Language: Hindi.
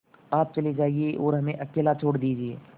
आप चले जाइए और हमें अकेला छोड़ दीजिए